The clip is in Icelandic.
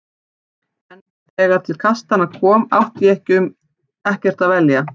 En þegar til kastanna kom átti ég um ekkert að velja.